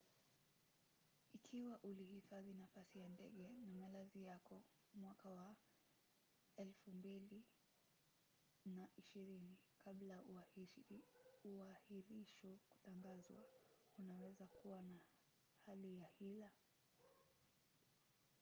ikiwa ulihifadhi nafasi ya ndege na malazi yako 2020 kabla ya uahirisho kutangazwa unaweza kuwa na hali ya hila